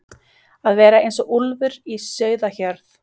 Að vera eins og úlfur í sauðahjörð